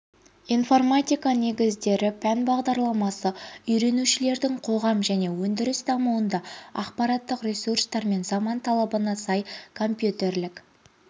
информатика негіздері пән бағдарламасы үйренушілердің қоғам және өндіріс дамуында ақпараттық ресурстар мен заман талабына сай компьютерлік